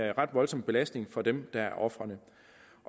en ret voldsom belastning for dem der er ofrene